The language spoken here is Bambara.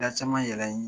Da caman yɛlɛ